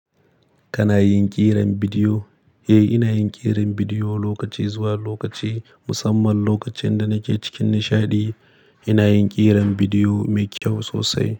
Kana yin ƙiran bidiyo? Eh, ina yin ƙiran bidiyo lokaci zuwa lokaci. Musamman lokacin da nake cikin nishaɗi, ina yin ƙiran bidiyo mai kyau sosai.